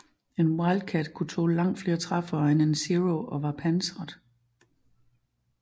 En Wildcat kunne tåle langt flere træffere end en Zero og var pansret